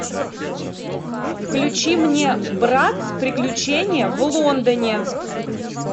включи мне братц приключения в лондоне